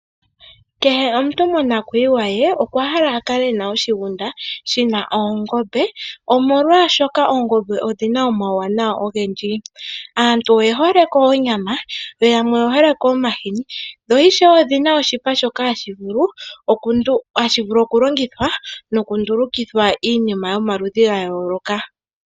Kehe omuntu monakuyiwa ye okwa hala a kale ena oshigunda shi na oongombe, omolwashoka oongombe odhi na omawuwanawa ogendji. Aantu oye hole ko onyama, yo yamwe oye hole ko omahini. Dho ishewe odhina oshipa shoka hashi vulu okulongithwa nokundulukithwa iinima yomaludhi ga yooloka.